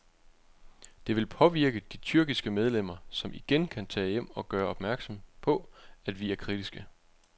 Det vil påvirke de tyrkiske medlemmer, som igen kan tage hjem og gøre opmærksom på, at vi er kritiske.